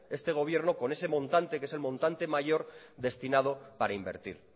este gobierno con ese montante que es el montante mayor destinado para invertir